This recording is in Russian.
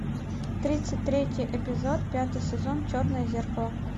тридцать третий эпизод пятый сезон черное зеркало